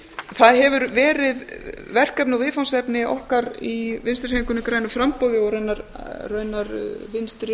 það hefur verið verkefni og viðfangsefni okkar í vinstri hreyfingunni grænu framboði og raunar vinstri